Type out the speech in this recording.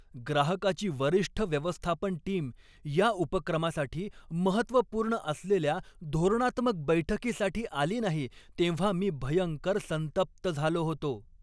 ग्राहकाची वरिष्ठ व्यवस्थापन टीम या उपक्रमासाठी महत्त्वपूर्ण असलेल्या धोरणात्मक बैठकीसाठी आली नाही तेव्हा मी भयंकर संतप्त झालो होतो.